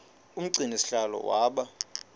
umgcini sihlalo waba